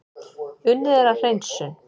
Unnið er að hreinsun